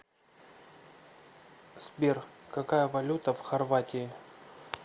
сбер какая валюта в хорватии